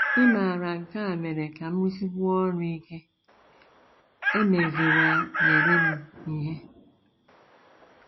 Ịmara nke a mere ka m rụsikwuo ọrụ ike, emeziwanyere m ihe. ”